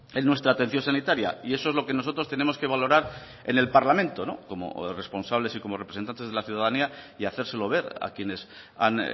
en nuestra atención sanitaria y eso es lo que nosotros tenemos que valorar en el parlamento como responsables y como representantes de la ciudadanía y hacérselo ver a quienes han